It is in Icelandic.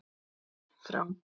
Ver frá